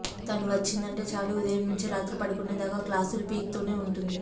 తను వచ్చిందంటే చాలు ఉదయం నుంచి రాత్రి పడుకునేదాకా క్లాస్ లు పీకుతూనే ఉంటుంది